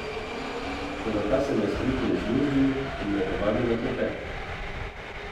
Toda ta se mu je spretno izmuznil in me povabil na klepet.